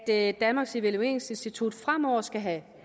at danmarks evalueringsinstitut fremover skal have